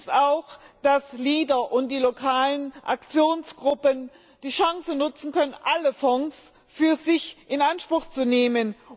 Positiv ist auch, dass LEADER und die lokalen Aktionsgruppen die Chance nutzen können, alle Fonds für sich in Anspruch zu nehmen.